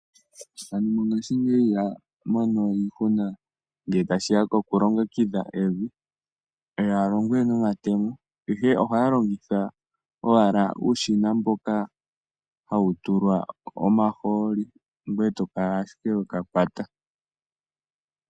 Aantu mongashingeyi ihaya mono we iihuna ngele tashiya koku longekidha evi ihaya longo we noma temo ihe ohaya longitha ihe owala uushina mboka hawu tulwa omaholi gweye to kala ashike weka kwata.